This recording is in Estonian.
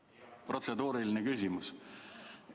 Jah, protseduuriline küsimus.